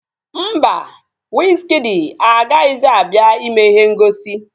Mba, wizkịdi agaghịzi abịa ime ihe ngosi